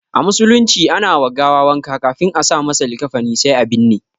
A musulunci ana wa gawa wanka ƙafin a sa masa likafani sai a binne.